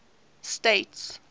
states